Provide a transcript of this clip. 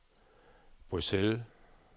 Bruxelles